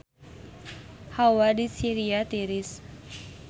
Hawa di Syria tiris